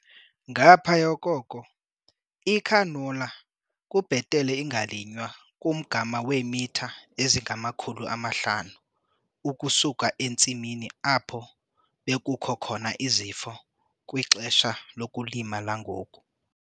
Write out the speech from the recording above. Ngaphaya koko, icanola kubhetele ingalinywa kumgama weemitha ezingama-500 ukusuka entsimini apho bekukho khona izifo kwixesha lokulima langoku.